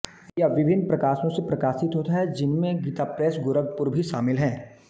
यह विभिन्न प्रकाशनों से प्रकाशित होता है जिनमें गीताप्रैस गोरखपुर भी शामिल है